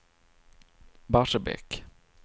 Barsebäck